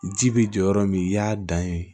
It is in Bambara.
Ji bi jɔ yɔrɔ min i y'a dan ye